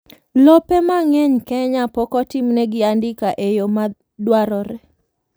lope mang'eny Kenya pok otimnegi andika e yoo madwarore